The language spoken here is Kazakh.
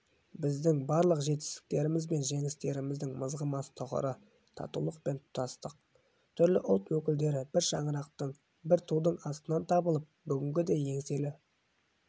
біздің барлық жетістіктеріміз бен жеңістеріміздің мызғымас тұғыры татулық пен тұтастық түрлі ұлт өкілдері бір шаңырақтың бір тудың астынан табылып бүгінгідей еңселі